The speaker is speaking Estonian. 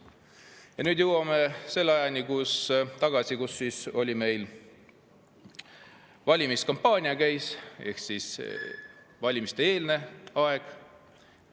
Ja nüüd jõuame tagasi selle ajani, kui meil oli valimiskampaania, oli valimiste-eelne aeg.